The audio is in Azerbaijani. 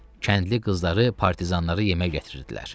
Kəndli qızları partizanlara yemək gətirirdilər.